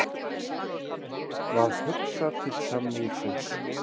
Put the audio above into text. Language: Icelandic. Varð hugsað til samningsins.